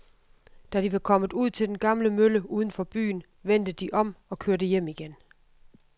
Da de var kommet ud til den gamle mølle uden for byen, vendte de om og kørte hjem igen.